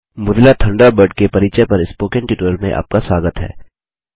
Mozilla Thunderbird के परिचय पर स्पोकन ट्यूटोरियल में आपका स्वागत है